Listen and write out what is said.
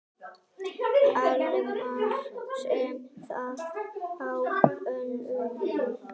Hilmar sá það á honum.